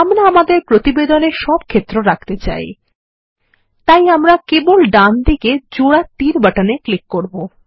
আমরা আমাদের প্রতিবেদনে সবক্ষেত্র রাখতে চাই তাইআমরা কেবল ডান দিকেজোড়াতীর বাটনে ক্লিক করব